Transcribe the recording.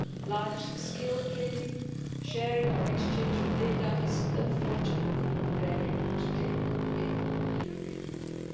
Large-scale trading, sharing or exchange of data, is unfortunately rare today in the European Union.